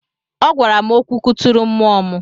Ọ gwara m okwu kụturu mmụọ m.